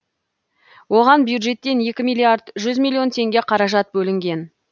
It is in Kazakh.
оған бюджеттен екі миллиард жүз миллион теңге қаражат бөлінген